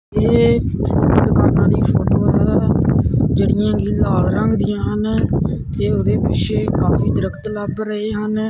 ਇਹ ਦੁਕਾਨਾਂ ਦੀ ਫੋਟੋ ਹੈ ਜਿਹੜੀਆਂ ਕਿ ਲਾਲ ਰੰਗ ਦੀਆਂ ਹਨ ਤੇ ਉਹਦੇ ਪਿੱਛੇ ਕਾਫੀ ਦਰਖਤ ਲੱਗ ਰਹੇ ਹਨ।